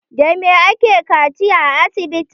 Da me ake kaciya a asibiti?